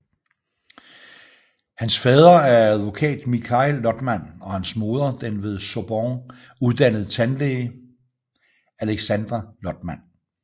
Hans fader er advokat Mikhail Lotman og hans moder den ved Sorbonne uddannede tandlæge Aleksandra Lotman